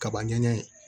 Kaba ɲɛ